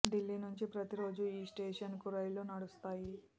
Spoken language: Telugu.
ఢిల్లీ నుండి ప్రతి రోజూ ఈ స్టేషన్ కు రైళ్లు నడుస్తాయి